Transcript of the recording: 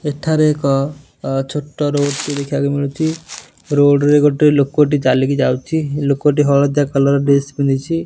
ଏଠାରେ ଏକ ଛୋଟ ରୋଡ଼ ଟି ଦେଖିଆକୁ ମିଳୁଚି ରୋଡ଼ ରେ ଗୋଟେ ଲୋକଟି ଚାଲିକି ଯାଉଚି ଲୋକଟି ହଳଦିଆ କଲର୍ ଡ୍ରେସ୍ ପିନ୍ଧିଚି ।